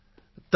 ਤਮਿਲ ਵਿੱਚ ਜਵਾਬ